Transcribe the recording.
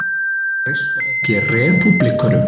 Treysta ekki repúblikönum